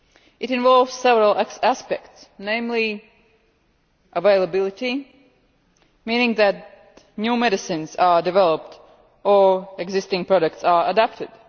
It involves several aspects, namely availability meaning that new medicines are developed or existing products are adapted